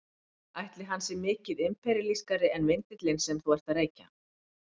Ætli hann sé mikið imperíalískari en vindillinn sem þú ert að reykja?